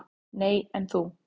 """Nei, en þú?"""